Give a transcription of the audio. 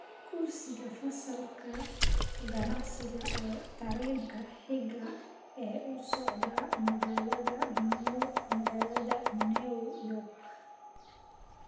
Kursiga fasalka ganacsiga ee tareenka xiga ee u socda magaalada New York